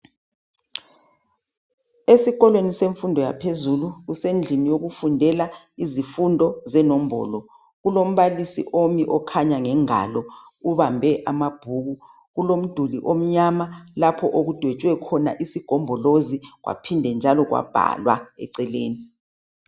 Esikolweni semfundo yaphezulu, kusendlini yokufundela izifundo zenombolo. Kulombalisi omi okhanya ngengalo ubambe amabhuku, kulomduli omnyama lapho okudwetshwe khona isigombolozi kwaphinde njalo kwabhalwa eceleni.